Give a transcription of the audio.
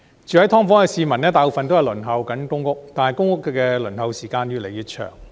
居於"劏房"的市民大部分正在輪候公屋，但公屋的輪候時間越來越長。